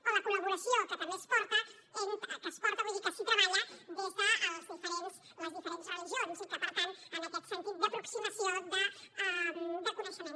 o la col·laboració que també es porta vull dir que s’hi treballa des de les diferents religions i per tant en aquest sentit d’aproximació de coneixement